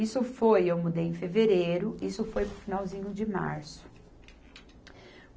Isso foi, eu mudei em fevereiro, isso foi no finalzinho de março.